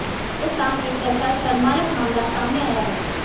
राजस्थान एक ऐसा शर्मानक मामला सामने आया है